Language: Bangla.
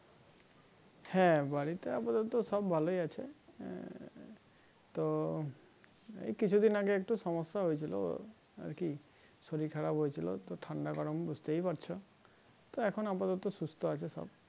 হ্যাঁ বাড়িতে আপাতত সব ভালোই আছে আহ তো এই কিছু দিন আগে একটু সমস্যা হয়ে ছিলো আর কি শরীর খারাপ হয়েছিল তো ঠান্ডা গরম বুজতে পারছো তো এখন আপাতত সুস্থ আছে সব।